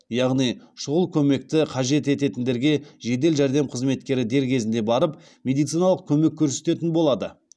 яғни шұғыл көмекті қажет ететіндерге жедел жәрдем қызметкері дер кезінде барып медициналық көмек көрсететін болады